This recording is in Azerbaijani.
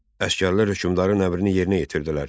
Əsgərlər hökmdarın əmrini yerinə yetirdilər.